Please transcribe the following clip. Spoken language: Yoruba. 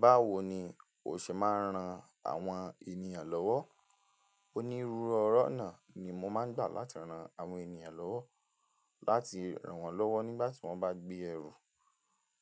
Báwo ni o ṣe máa ń ran àwọn ènìyàn lọ́wọ́? Onírúurú ọ̀rọ̀ náà ni mo máa ń gbà láti ran àwọn ènìyàn lọ́wọ́. Láti ràn wọ́n lọ́wọ́ nígbà tí wọ́n bá gbé ẹrù,